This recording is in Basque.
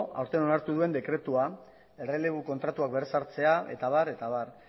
aurten onartu duen dekretua errelebo kontratuak berrezartzea eta abar eta abar